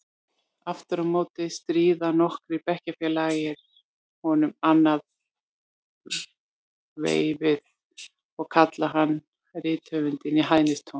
Aftur á móti stríða nokkrir bekkjarfélagar honum annað veifið og kalla hann rithöfundinn í hæðnistóni.